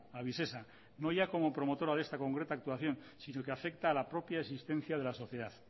a visesa no ya como promotora de esta concreta actuación sino que afecta a la propia existencia de la sociedad